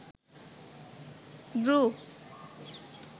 group